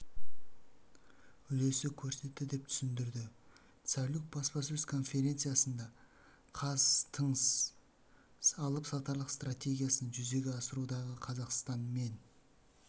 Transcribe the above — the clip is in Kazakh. үлесі көрсетті деп түсіндірді цалюк баспасөз конференциясында қаз тыңс алып-сатарлық стратегиясын жүзеге асырудағы қазақстан мен